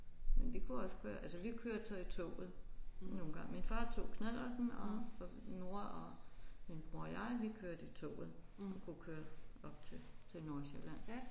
Men det kunne også være altså vi kørte så i toget nogle gange min far tog knallerten og mor og min bror og jeg vi kørte i toget. Det kunne køre op til til Nordsjælland